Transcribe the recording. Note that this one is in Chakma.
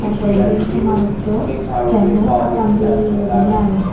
tarporendy se manuso panot attan degureny aagey.